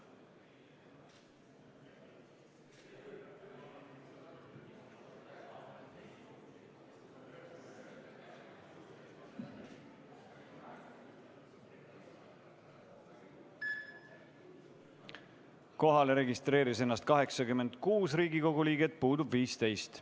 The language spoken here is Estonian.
Kohaloleku kontroll Kohalolijaks registreeris ennast 86 Riigikogu liiget, puudub 15.